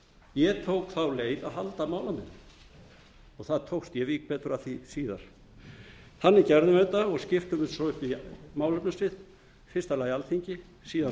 ég tók þá leið að halda málamiðlun og það tókst ég vík betur að því síðar þannig gerðum við þetta og skiptum þessu svo upp í málefnasvið í fyrsta lagi alþingi síðan